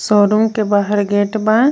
Showroom के बाहर gate बा।